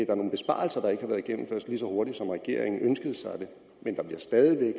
er nogle besparelser der ikke har været gennemført lige så hurtigt som regeringen ønskede sig det men der bliver stadig